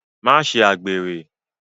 Ma ṣe àgbèrè.